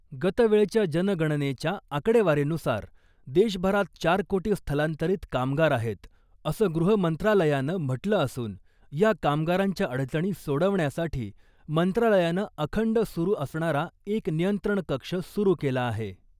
गतवेळच्या जनगणनेच्या आकडेवारीनुसार देशभरात चार कोटी स्थलांतरित कामगार आहेत , असं गृहमंत्रालयानं म्हटलं असून या कामगारांच्या अडचणी सोडवण्यासाठी मंत्रालयानं अखंड सुरू असणारा एक नियंत्रण कक्ष सुरू केला आहे .